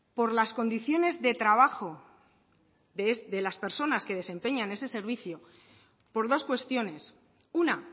por las condiciones de trabajo de las personas que desempeñan ese servicio por dos cuestiones una